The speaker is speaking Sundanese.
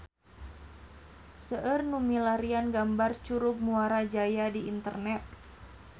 Seueur nu milarian gambar Curug Muara Jaya di internet